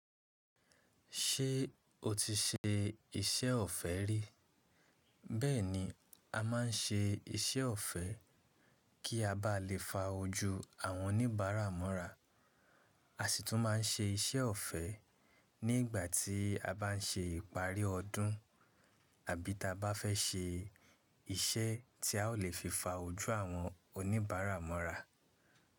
Ṣé o ti ṣe iṣẹ́ ọ̀fẹ́ rí? Bẹ́ẹ̀ni, a máa ń ṣe iṣẹ́ ọ̀fẹ́ kí a bá lè fa ojú àwọn oníbàárà mọ́ra, a sì tún máa ń ṣe iṣẹ́ ọ̀fẹ́ ní ìgbà tí a bá ń ṣe ìparí ọdún àbí tí a bá fẹ́ ṣe iṣẹ́ tí a ó lè fi fa ojú àwọn oníbàárà mọ́ra.